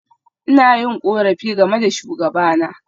Ina yin korafi game da shugabana.